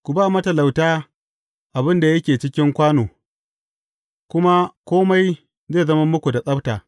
Ku ba matalauta abin da yake cikin kwano, kuma kome zai zama muku da tsabta.